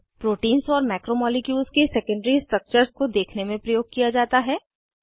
proteins और macromolecules के secondary structures को देखने में प्रयोग किया जाता है